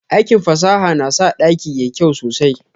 Aikin fasaha na sa dakin yayi kyau sosai.